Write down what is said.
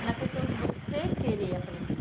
É na questão de você querer aprender.